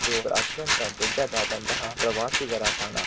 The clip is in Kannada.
ಇದು ಅತ್ಯಂತ ದೊಡ್ಡದಾಂತಹ ಪ್ರವಾಸಿಗರ ತಾಣ.